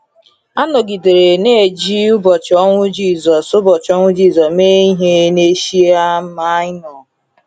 A nọgidere na-eji ụbọchị ọnwụ Jizọs ụbọchị ọnwụ Jizọs mee ihe n’Eshia Maịnọ.